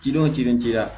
Cidenw cilen ci la